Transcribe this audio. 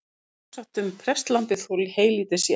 Það er sjálfsagt um prestlambið þó heylítið sé.